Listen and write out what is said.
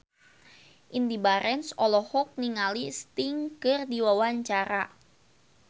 Indy Barens olohok ningali Sting keur diwawancara